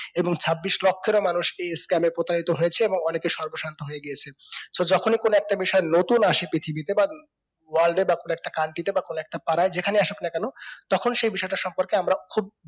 এবং ছাব্বিশ লক্ষেরও বেশ মানুষ এই scam এ প্রতারিত হয়েছে এবং অনেকে সর্বশান্ত হয়েগিয়েছে so যখনি কোনো একটা বিষয় নতুন আসে পৃথিবীতে বা world এ বা কোনো একটা country তে বা কোনো একটা পাড়ার যেকানে আসুখ না কেন তখন সেই বেশিটা সম্পর্কে আমরা খুব